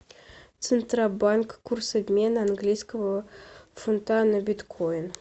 центробанк курс обмена английского фунта на биткоин